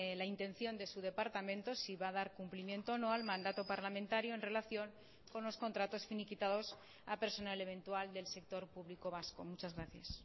la intención de su departamento si va a dar cumplimiento o no al mandato parlamentario en relación con los contratos finiquitados a personal eventual del sector público vasco muchas gracias